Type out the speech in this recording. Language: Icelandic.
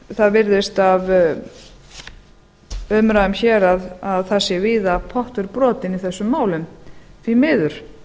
það virðist af umræðum hér að það sé víða pottur brotinn í þessum málum því miður